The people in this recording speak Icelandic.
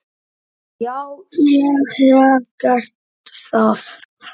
Já, ég hef gert það.